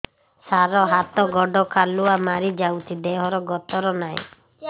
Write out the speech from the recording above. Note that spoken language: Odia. ସାର ହାତ ଗୋଡ଼ କାଲୁଆ ମାରି ଯାଉଛି ଦେହର ଗତର ନାହିଁ